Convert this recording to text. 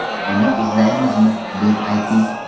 Uni izlaymizmi?” deb ayting.